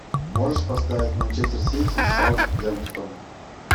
можешь поставить манчестер сити с саутгемптон